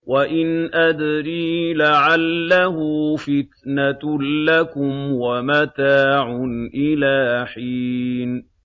وَإِنْ أَدْرِي لَعَلَّهُ فِتْنَةٌ لَّكُمْ وَمَتَاعٌ إِلَىٰ حِينٍ